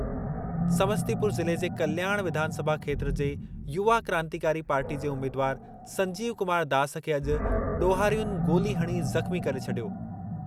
समस्तीपुर ज़िले जे कल्याण विधानसभा खेत्रु जे युवा क्रांतिकारी पार्टी जे उमीदवार संजीव कुमार दास खे अॼु ॾोहारियुनि गोली हणी ज़ख़्मी करे छॾियो।